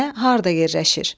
Nə, harda yerləşir?